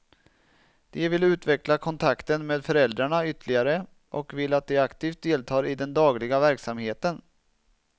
De vill utveckla kontakten med föräldrarna ytterligare, och vill att de aktivt deltar i den dagliga verksamheten.